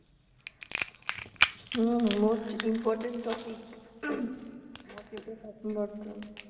Hmm Most important topic .